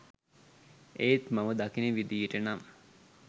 එත් මම දකින විධියට නම්